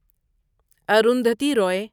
Arundhati Ravi